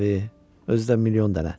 Özü də milyon dənə.